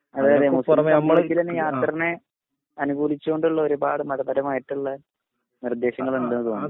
അതെ അതെയാത്രനെ നമ്മളെ അനുഭൂധിച്ചുകൊണ്ടുള്ള ഒരുപാട് മതപരമായിട്ടുള്ള നിർദ്ദേശങ്ങൾ ണ്ട് തോന്നുണു